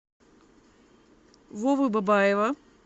вовы бабаева